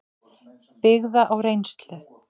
byggða á reynslu.